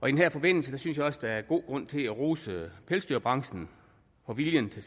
her forbindelse synes jeg også der er god grund til at rose pelsdyrbranchen for viljen til